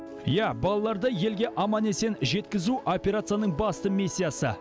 иә балаларды елге аман есен жеткізу операцияның басты миссиясы